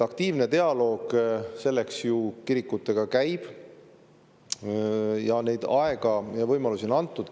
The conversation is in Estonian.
Aktiivne dialoog selleks kirikutega käib ja aega ja võimalusi on neile antud.